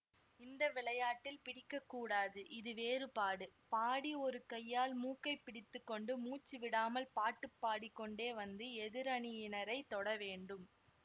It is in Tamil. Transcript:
இந்த விளையாட்டில் பிடிக்கக்கூடாது இது வேறுபாடு பாடி ஒரு கையால் மூக்கைப் பிடித்து கொண்டு மூச்சு விடாமல் பாட்டுப் பாடிக்கொண்டே வந்து எதிரணியினரைத் தொடவேண்டும்